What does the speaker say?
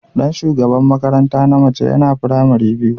Dan shugaban makaranta na mace yana firamare biyu.